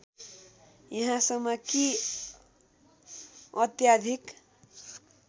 यहाँसम्म कि अत्याधिक